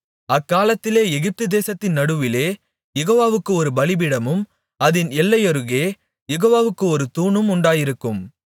அக்காலத்திலே எகிப்து தேசத்தின் நடுவிலே யெகோவாவுக்கு ஒரு பலிபீடமும் அதின் எல்லையருகே யெகோவாவுக்கு ஒரு தூணும் உண்டாயிருக்கும்